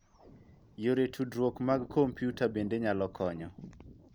Yore tudruok mag komputa bende nyalo konyo.